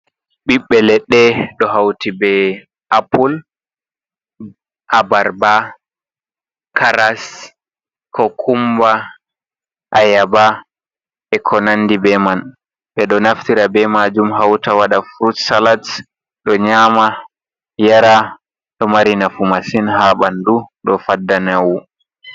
Ɓiɓɓe leɗɗe ɗo hauti be apple, abarba, karas, kukumba, ayaaba, e konanndi be man. Ɓe ɗo naftira be maajum hauta waɗa frut salad ɓe nyama, yara. Ɗo mari nafu masin ha ɓanndu, ɗo fadda nyaw.